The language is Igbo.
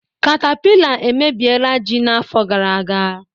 Katapila emebiela ji n'afọ gara aga